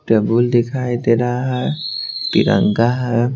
Table दिखाई दे रहा है तिरंगा है।